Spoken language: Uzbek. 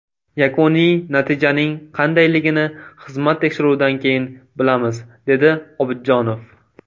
Yakuniy natijaning qandayligini xizmat tekshiruvidan keyin bilamiz”, dedi Obidjonov.